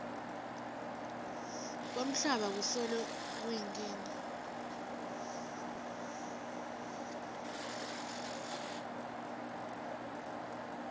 kwemhlaba kusolo kuyinkinga